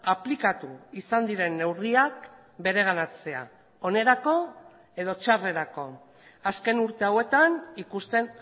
aplikatu izan diren neurriak bereganatzea onerako edo txarrerako azken urte hauetan ikusten